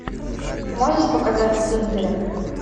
можешь показать свингеры